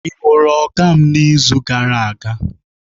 Ị hụrụ Oga m n'izu gara aga?